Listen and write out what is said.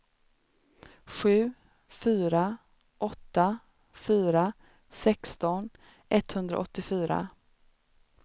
sju fyra åtta fyra sexton etthundraåttiofyra